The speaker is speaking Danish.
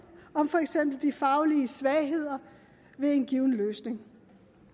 om for eksempel de faglige svagheder ved en given løsning